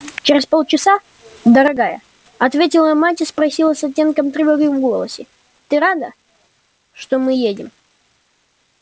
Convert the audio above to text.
через полчаса дорогая ответила мать и спросила с оттенком тревоги в голосе ты рада что мы едем